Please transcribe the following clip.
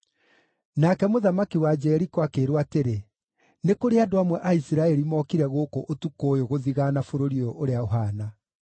Nake mũthamaki wa Jeriko akĩĩrwo atĩrĩ, “Nĩ kũrĩ andũ amwe a Isiraeli mokire gũkũ ũtukũ ũyũ gũthigaana bũrũri ũyũ ũrĩa ũhaana.”